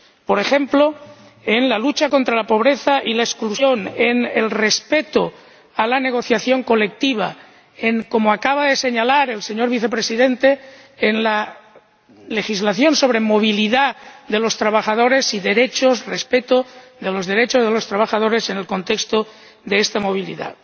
Por ejemplo, en la lucha contra la pobreza y la exclusión, en el respeto de la negociación colectiva, en —como acaba de señalar el señor Vicepresidente— la legislación sobre movilidad de los trabajadores y derechos, el respeto de los derechos de los trabajadores en el contexto de esta movilidad.